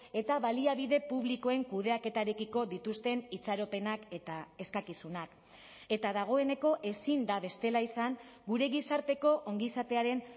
eta baliabide publikoen kudeaketarekiko dituzten itxaropenak eta eskakizunak eta dagoeneko ezin da bestela izan gure gizarteko ongizatearen